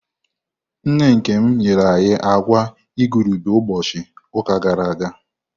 Nne Kemi nyere ya agwa igurube ụbọchị ụka gara aga.